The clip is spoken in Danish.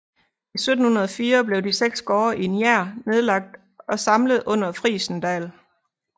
I 1704 blev de seks gårde i Njær nedlagt og samlet under Frijsendal